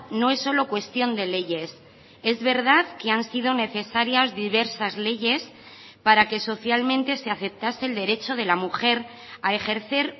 no es solo cuestión de leyes es verdad que han sido necesarias diversas leyes para que socialmente se aceptase el derecho de la mujer a ejercer